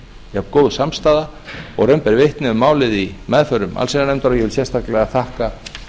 jafngóð samstaða og raun ber vitni um málið í meðförum allsherjarnefndar og ég vil sérstaklega þakka